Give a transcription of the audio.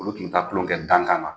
Olu kun bi taa kulon kɛ dankan na.